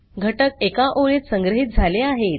घटक एका ओळीत संग्रहीत झाले आहेत